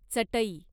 चटई